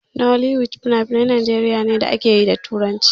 Nollywood finafinan Najeriya ne da akeyi da turanci.